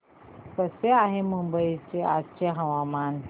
कसे आहे मुंबई चे आजचे हवामान